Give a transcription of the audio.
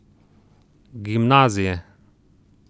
Gimnazije.